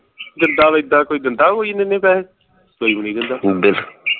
ਜਿੱਦਾ ਇੱਦਾਂ ਕੋਈ ਦਿੰਦਾ ਕੋਈ ਇੰਨੇ ਇੰਨੈ ਪੈਹੇ ਕੋਈ ਵੀ ਨੀ ਦਿੰਦਾ